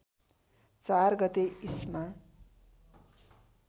४ गते इस्मा